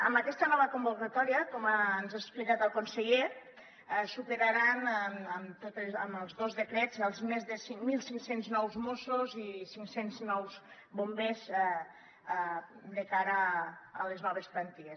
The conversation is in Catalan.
amb aquesta nova convocatòria com ens ha explicat el conseller es superaran amb els dos decrets els més de cinc mil cinc cents nous mossos i cinc cents nous bombers de cara a les noves plantilles